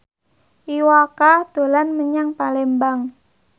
Iwa K dolan menyang Palembang